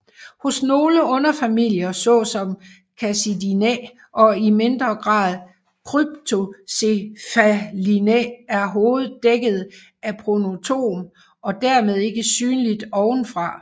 Hos nogle underfamilier såsom Cassidinae og i mindre grad Cryptocephalinae er hovedet dækket af pronotum og dermed ikke synligt ovenfra